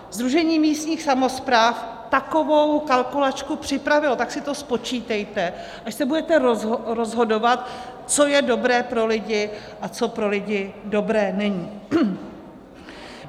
Sdružení místních samospráv takovou kalkulačku připravilo, tak si to spočítejte, až se budete rozhodovat, co je dobré pro lidi a co pro lidi dobré není.